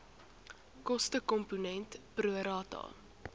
kostekomponent pro rata